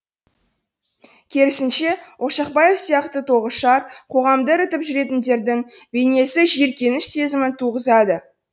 керісінше ошақбаев сияқты тоғышар қоғамды ірітіп жүретіндердің бейнесі жиіркеніш сезімін туғызады